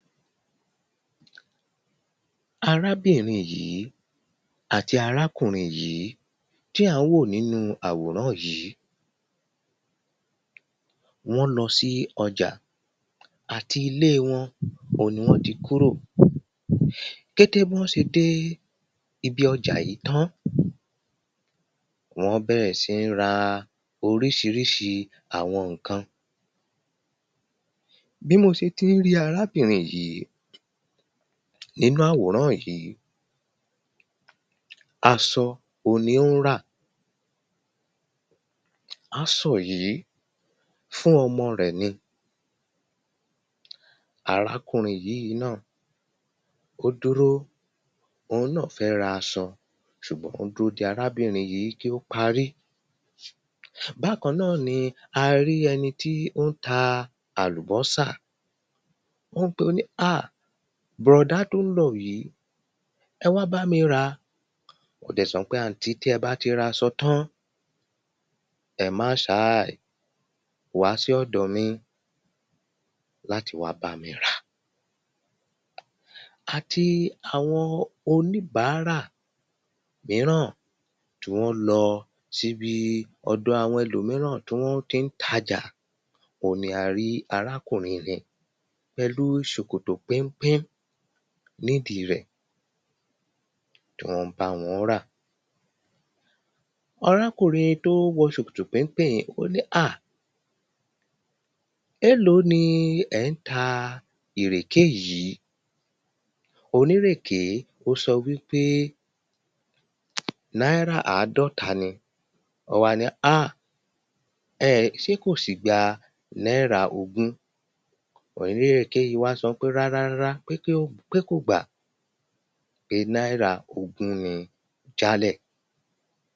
Arábìnrin yìí àti arákùnrin yìí tí à ń wò nínú àwòrán yìí wọ́n ń lọ sí ọjà. Àti ilé wọn oun ni wọ́n ti kúrò kété bí wọ́n ṣe dé ibi ọjà yìí tán ni wọ́n bẹ̀rẹ̀ sí ní ra oríṣiríṣi àwọn nǹkan. Bí mo ṣe ti ń rí arábìnrin yìí nínú àwòrán yìí asọ oun ni ó ń rà. Asọ yìí fún ọmọ rẹ̀ ni. Arákùnrin yìí náà ó dúró òun náà fẹ́ ra asọ ṣùgbọ́n ó ń dúró de arábìnrin yìí kí ó parí. Bákan náà ni a rí ẹni tí ó ń ta àlùbọ́sà ó pé ó ní ah brọ̀dá tó ń lọ yìí ẹ wá bámi ɹà ó dẹ̀ sọ pé àntí tí ẹ bá ti ra asọ tán ẹ má ṣàí wá dí ọ̀dọ̀ mi láti wá bámi rà. Àti àwọn oníbàárà míràn tó ń lọ síbi ọ̀dọ̀ àwọn ẹ̀lòmíràn tí wọ́n tí ń tajà oun ni a rí arákùnrin yìí pẹ̀lú ṣòkòtò péńpé nídìí rẹ̀ wọ́n ń bá wọn rà. Arákùnrin tó wọ ṣòkòtò péńpé yìí ó ní àh éèló ni ẹ̀ ń ta ìrèké yìí onírèké ó sọ wípé náírà àádọ́ta ni ó wá ní àh ẹ̀ ṣé kò sì gba náírà ogún onírèké yìí wá sọ pé rárá rárá pé kí ó pé kò gbà pé náírà ogún ni jálẹ̀.